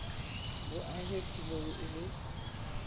bo ahe tulong e le